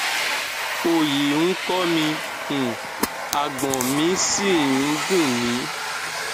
òòyì ń kọ mi um àgbọn mi sì ń ń dùn mí